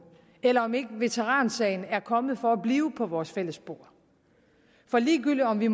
eller om ikke veteransagen er kommet for at blive på vores fælles bord for ligegyldigt om vi